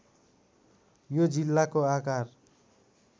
यो जिल्लाको आकार